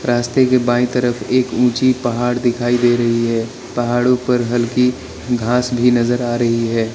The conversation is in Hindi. रास्ते के बाई तरफ एक ऊंची पहाड़ दिखाई दे रही है पहाड़ों पर हल्की घास भी नजर आ रही है।